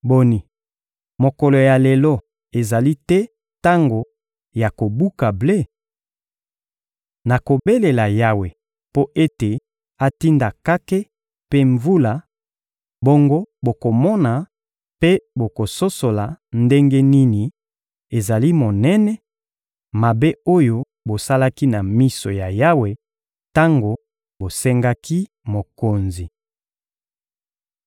Boni, mokolo ya lelo ezali te tango ya kobuka ble? Nakobelela Yawe mpo ete atinda kake mpe mvula, bongo bokomona mpe bokososola ndenge nini ezali monene, mabe oyo bosalaki na miso ya Yawe tango bosengaki mokonzi.